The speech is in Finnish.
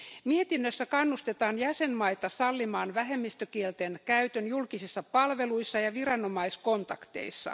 Mietinnössä kannustetaan jäsenmaita sallimaan vähemmistökielten käyttö julkisissa palveluissa ja viranomaiskontakteissa.